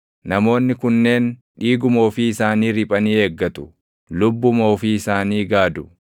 Namoonni kunneen dhiiguma ofii isaanii riphanii eeggatu; lubbuma ofii isaanii gaadu!